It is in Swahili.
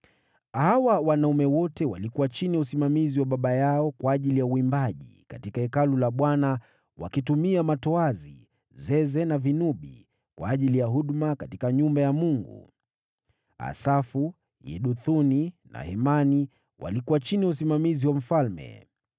Hawa wanaume wote walikuwa chini ya usimamizi wa baba yao kwa ajili ya uimbaji katika Hekalu la Bwana wakitumia matoazi, zeze na vinubi, kwa ajili ya huduma katika nyumba ya Mungu. Asafu, Yeduthuni na Hemani walikuwa chini ya usimamizi wa mfalme.